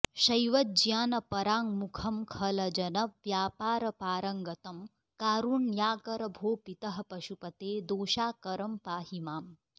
शैवज्ञानपराङ्मुखं खलजनव्यापारपारङ्गतं कारुण्याकर भो पितः पशुपते दोषाकरं पाहि माम्